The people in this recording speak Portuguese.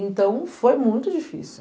Então, foi muito difícil.